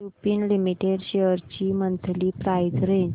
Lupin limited shares ची monthly price range